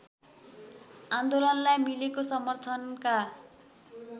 आन्दोलनलाई मिलेको समर्थनका